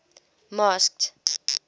masked